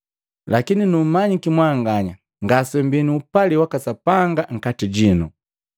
Lakini numanyiki mwanganya ngasemmbii nu upali waka Sapanga nkati jinu.